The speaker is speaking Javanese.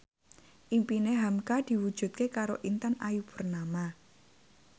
impine hamka diwujudke karo Intan Ayu Purnama